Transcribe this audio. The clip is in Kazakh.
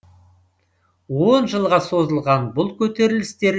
он жылға созылған бұл көтерілістер